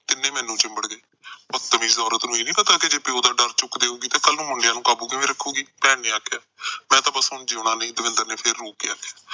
ਤਿੰਨੇ ਮੈਨੂੰ ਚਿੰਬੜ ਗਏ। ਬਤਮੀਜ ਔਰਤ ਨੂੰ ਇਹ ਨਹੀਂ ਪਤਾ ਕਿ ਜੇ ਪਿਉ ਦਾ ਡਰ ਚੁੱਕ ਦੇਉਗੀ, ਤਾਂ ਕੱਲ੍ਹ ਮੁੰਡਿਆਂ ਨੂੰ ਕਾਬੂ ਕਿਵੇਂ ਰਖੂਗੀ, ਭੈਣ ਨੇ ਆਖਿਆ। ਮੈਂ ਤਾਂ ਹੁਣ ਜਿਉਣਾ ਨੀ, ਦਵਿੰਦਰ ਨੇ ਫਿਰ ਰੋ ਕੇ ਆਖਿਆ।